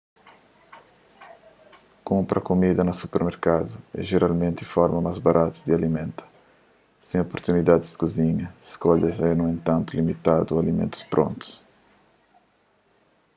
kunpra kumida na supermerkadu é jeralmenti forma más baratu di alimenta sen oportunidadis di kuzinha skolhas é nu entantu limitadu a alimentus prontu